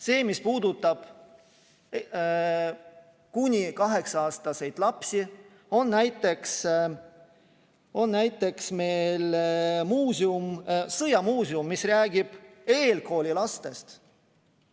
See, mis puudutab kuni 8-aastaseid lapsi, on näiteks meil Sõjamuuseum, mis räägib eelkooliealistest lastest.